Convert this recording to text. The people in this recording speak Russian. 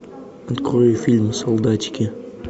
открой фильм солдатики